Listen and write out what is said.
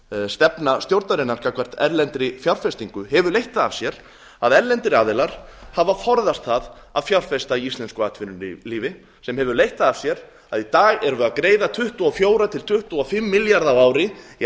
stefna stjórnarinnar gagnvart erlendri fjárfestingu hefur leitt það af sér að erlendir aðilar hafa forðast það að fjárfesta í íslensku atvinnulífi sem hefur leitt það af sér að í dag erum við að greiða tuttugu og fjögur til tuttugu og fimm milljarða á ári í